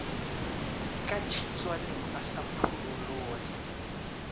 ka tshitswaneng a sa phurolloge